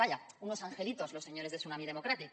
vaya unos angelitos los señores de tsunami democràtic